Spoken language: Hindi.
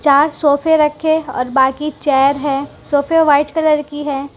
चार सोफे रखें और बाकी चेयर है सोफे व्हाइट कलर की है।